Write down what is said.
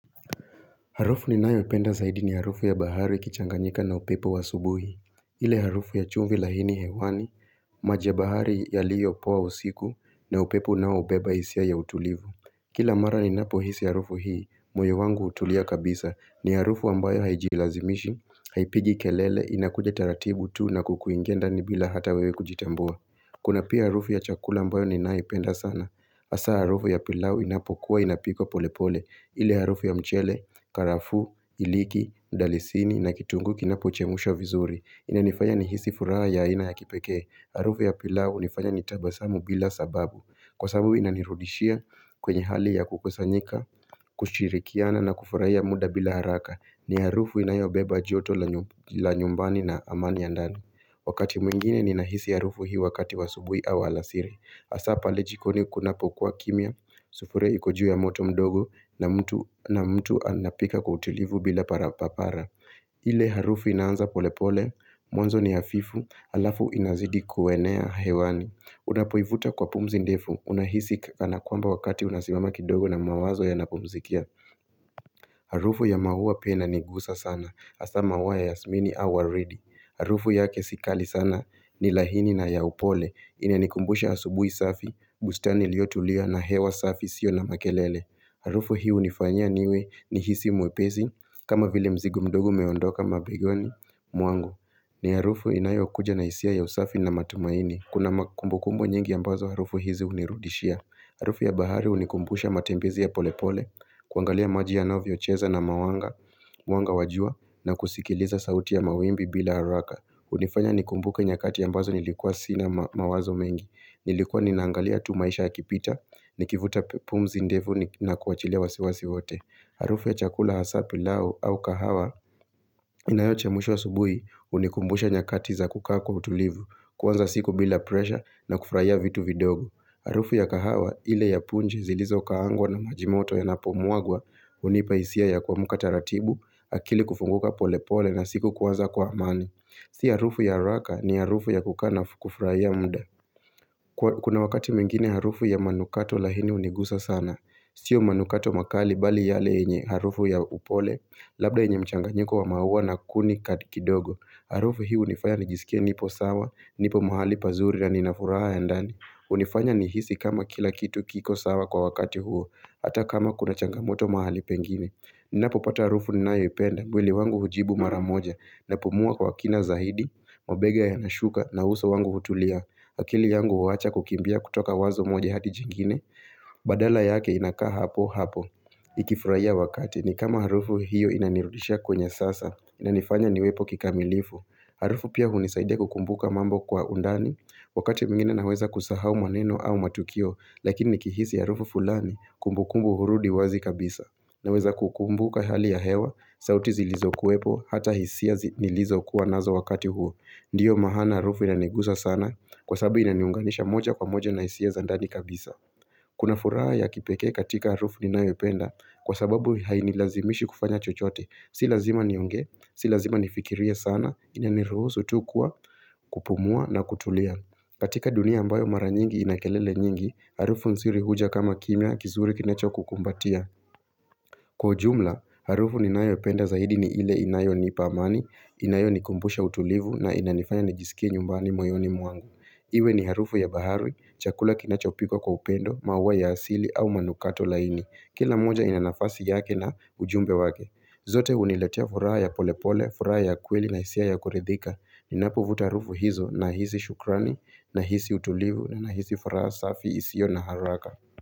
Harufu ninayoipenda zaidi ni harufu ya bahari ikichanganyika na upepo wa asubuhi. Ile harufu ya chumvi laini hewani, maji ya bahari yaliyopoa usiku na upepo unaobeba hisia ya utulivu. Kila mara ninapohisi harufu hii, moyo wangu hutulia kabisa. Ni harufu ambayo haijilazimishi, haipigi kelele, inakuja taratibu tu na kukuingia ndani bila hata wewe kujitambua. Kuna pia harufu ya chakula ambayo ninayoipenda sana. Hasa harufu ya pilau inapokuwa inapikwa polepole. Ile harufu ya mchele, karafuu, iliki, mdalisini na kitunguu kinapochemshwa vizuri inanifanya nihisi furaha ya aina ya kipekee. Harufu ya pilau hunifanya nitabasamu bila sababu kwa sababu inanirudishia kwenye hali ya kukusanyika, kushirikiana na kufurahia muda bila haraka. Ni harufu inayobeba joto lenye la nyumbani na amani ya ndani Wakati mwingine ninahisi harufu hii wakati wa asubuhi au alasiri. Hasaa pale jikoni kunapokuwa kimya, sufuria iko juy ya moto mdogo na mtu anapika kwa utulivu bila parapapara ile harufu inaanza polepole. Mwanzo ni hafifu halafu inazidi kuenea hewani. Unapoivuta kwa pumzi ndefu unahisi kana kwamba wakati unasimama kidogo na mawazo yanapumzikia Harufu ya maua pia inanigusa sana hasaa maua ya yasmini au waridi. Harufu yake si kali sana ni laini na ya upole. Inanikumbusha asubuhi safi, bustani iliyotulia na hewa safi isiyo na makelele. Harufu hii hunifanya niwe nihisi mwepesi kama vile mzigo mdogo umeondoka mabigoni mwangu. Ni harufu inayokuja na hisia ya usafi na matumaini. Kuna kumbukumbu nyingi ambazo harufu hizi hunirudishia. Harufu ya bahari hunikumbusha matembezi ya polepole, kuangalia maji yanavyocheza na mawanga. Mwanga wa jua na kusikiliza sauti ya mawimbi bila haraka. Hunifanya nikumbuke nyakati ambazo nilikuwa sina mawazo mengi. Nilikuwa ninaangalia tu maisha yakipita, nikivuta pumzi ndefu na kuwachilia wasiwasi wote. Harufu ya chakula hasaa pilau au kahawa inayochemshwa asubui hunikumbusha nyakati za kukaa kwa utulivu, kuanza siku bila presha na kufurahia vitu vidogo. Harufu ya kahawa, ile ya punji zilizokaangwa na maji moto yanapomwagwa, hunipa hisia ya kuamka taratibu, akili kufunguka pole pole na siku kuanza kwa amani. Si harufu ya haraka ni harufu ya kukaa na kufurahia muda. Kuna wakati mwingine harufu ya manukato laini hunigusa sana Sio manukato makali bali yale yenye harufu ya upole, labda yenye mchanganyiko wa maua na kuni kidogo Harufu hii hunifanya nijisikie nipo sawa, nipo mahali pazuri na nina furaha ya ndani. Hunifanya nihisi kama kila kitu kiko sawa kwa wakati huo hata kama kuna changamoto mahali pengine Ninapopata harufu ninayoipenda mwili wangu hujibu mara moja, napumua kwa kina zaidi, mabega yanashuka na uso wangu hutulia. Akili yangu huwacha kukimbia kutoka wazo moja hadi jingine. Badala yake inakaa hapo hapo. Ikifurahia wakati ni kama harufu hiyo inanirudisha kwenye sasa. Inanifanya niwepo kikamilifu. Harufu pia hunisaidia kukumbuka mambo kwa undani. Wakati mwingine naweza kusahau maneno au matukio. Lakini nikihisi harufu fulani kumbukumbu hurudi wazi kabisa. Naweza kukumbuka hali ya hewa. Sauti zilizokuwepo hata hisia nilizokuwa nazo wakati huo. Ndiyo maana harufu inaniguza sana kwasabu inaniunganisha moja kwa moja na hisia za ndani kabisa Kuna furaha ya kipekee katika harufu ninayopenda kwa sababu hainilazimishi kufanya chochote. Si lazima niongee, si lazima nifikiria sana, inaniruhusu tu kuwa, kupumua na kutulia. Katika dunia ambayo mara nyingi ina kelele nyingi Harufu nzuri huja kama kimya kizuri kinachokukumbatia. Kwa ujumla, harufu ninayopenda zaidi ni ile inayonipa amani, inayonikumbusha utulivu na inanifanya nijisikie nyumbani moyoni mwangu. Iwe ni harufu ya bahari, chakula kinachopikwa kwa upendo, maua ya asili au manukato laini. Kila moja inanafasi yake na ujumbe wake. Zote huniletea furaha ya polepole, furaha ya kweli na hisia ya kuridhika. Ninapovuta harufu hizo nahisi shukrani, nahisi utulivu, nahisi furaha safi isiyo na haraka.